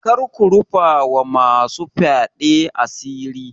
Kar ku rufa ma masu fyaɗe asiri.